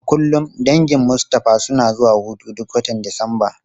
A kullum dangin Mustapha suna zuwa hutu duk watan Disamba.